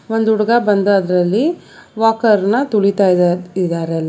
ಒಂದು ಹುಡುಗ ಬಂದ ಅದ್ರಲ್ಲಿ ವಾಕರ್ ನ ತುಳಿತಾ ಇದಾ ಇದಾರೆ ಅಲ್ಲಿ.